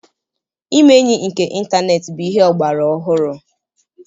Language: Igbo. Ime enyi nke ịntaneetị bụ ihe ọgbara ọhụrụ.